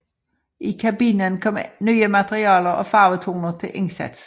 I kabinen kom nye materialer og farvetoner til indsats